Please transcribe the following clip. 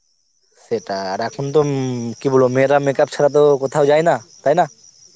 সেটা আর এখন তো কি বলব মেয়েরা makeup ছাড়া তো কথাও যায়ে না তাইনা